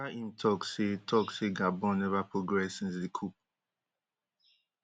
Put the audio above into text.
wia im tok say tok say gabon neva progress since di coup